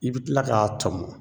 I bi tila k'a tɔmɔ